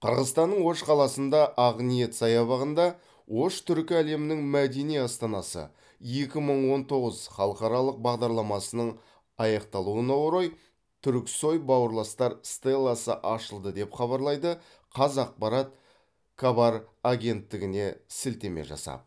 қырғызстанның ош қаласында ақниет саябағында ош түркі әлемінің мәдени астанасы екі мың он тоғыз халықаралық бағдарламасының аяқталуына орай түрксой бауырластар стелласы ашылды деп хабарлайды қазақпарат кабар агенттігіне сілтеме жасап